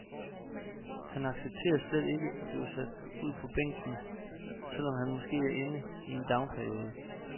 Han accepterer slet ikke at blive sat ud på bænken, selv om han er måske inde i en downperiode.